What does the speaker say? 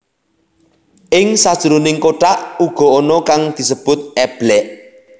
Ing sajroning kothak uga ana kang disebut eblek